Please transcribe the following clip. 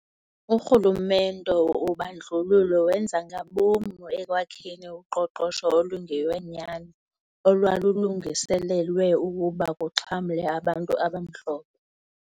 Urhulumente wobandlululo wenza ngabom ekwakheni uqoqosho olungeyonyani olwalulungiselelwe ukuba kuxhamle abantu abamhlophe.